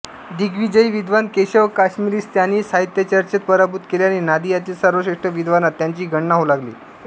दिग्विजयी विद्वान केशव काश्मीरीस त्यांनी साहित्यचर्चेत पराभूत केल्याने नादियातील सर्वश्रेष्ठ विद्वानांत त्यांची गणना होऊ लागली